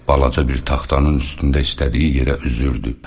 Balaca bir taxtanın üstündə istədiyi yerə üzürdü.